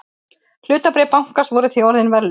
Hlutabréf bankans voru því orðin verðlaus